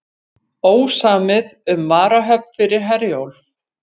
Ósamið um varahöfn fyrir Herjólf